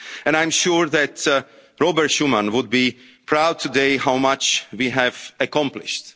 and freedom. I am sure that Robert Schuman would be proud today of how much we have